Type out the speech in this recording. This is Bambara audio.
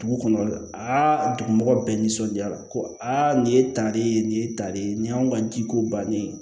Dugu kɔnɔ aa dugu mɔgɔ bɛɛ nisɔndiyara ko aa nin ye tali ye nin ye tali ye nin y'anw ka jiko bannen ye